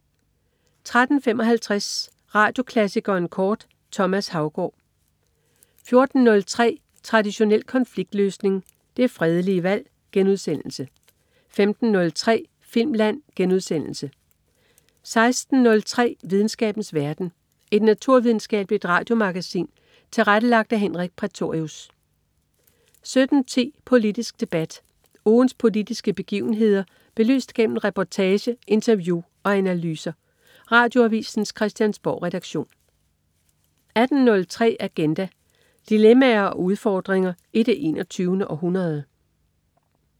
13.55 Radioklassikeren kort. Thomas Haugaard 14.03 Traditionel konfliktløsning. Det fredelige valg* 15.03 Filmland* 16.03 Videnskabens verden. Et naturvidenskabeligt radiomagasin tilrettelagt af Henrik Prætorius 17.10 Politisk debat. Ugens politiske begivenheder belyst gennem reportage, interview og analyser. Radioavisens Christiansborgredaktion 18.03 Agenda. Dilemmaer og udfordringer i det 21. århundrede